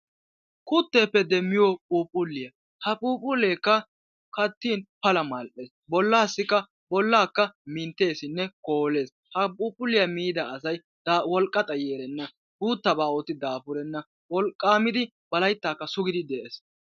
kutteeppe demmiyoo phuphuliyaa. ha phuphuleekka kaatin pala mall'ees. bollaassi qa bollaakka mintteesinne koolees. ha phuphuliyaa miida wolqqa xaayi erenna. guuttabaa ootti daafurenna. wolqaamiddi ba layttaakka suugidi de'ees.